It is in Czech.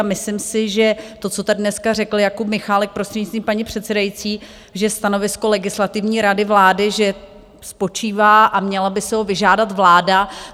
A myslím si, že to, co tady dneska řekl Jakub Michálek, prostřednictvím paní předsedající, že stanovisko Legislativní rady vlády, že spočívá a měla by si ho vyžádat vláda.